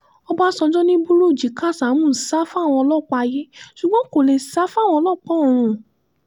ọ̀básanjọ́ ni bùrúnjí kásámù sá fáwọn ọlọ́pàá ayé ṣùgbọ́n kó lè sá fáwọn ọlọ́pàá ọ̀run